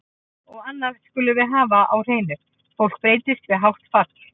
Og annað skulum við hafa á hreinu, fólk breytist við hátt fall.